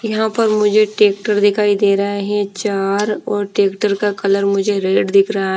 यहां पर मुझे टेक्टर दिखाई दे रहा है चार और ट्रैक्टर का कलर मुझे रेड दिख रहा--